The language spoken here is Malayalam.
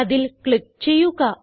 അതിൽ ക്ലിക്ക് ചെയ്യുക